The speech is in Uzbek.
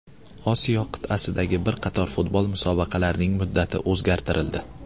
Osiyo qit’asidagi bir qator futbol musobaqalarining muddati o‘zgartirildi.